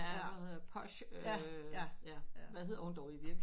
Ja hun hedder Posh hvad hedder hun dog egentlig ikke